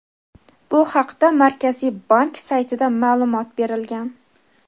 Bu haqda Markaziy bank saytida ma’lumot berilgan.